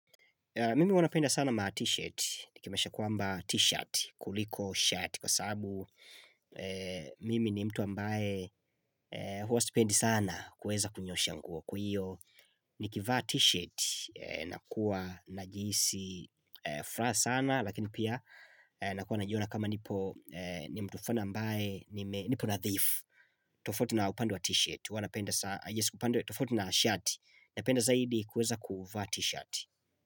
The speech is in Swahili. Mimi huwa napenda sana ma t-shirt, ni kimesha kuamba t-shirt, kuliko shirt, kwa sababu mimi ni mtu ambaye huwa sipendi sana kuweza kunyoosha nguo. Kwa hiyo, ni kivaa t-shirt, nakuwa na jisi furaha sana, lakini pia nakuwa najiona kama nipo ni mtu flani ambaye nipo nadhifu tofauti na upande wa t-shirt, huwa napenda sana,, tofutu na shirt, napenda zaidi kuweza kuvaa t-shirt.